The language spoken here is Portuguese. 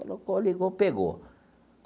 Colocou, ligou, pegou.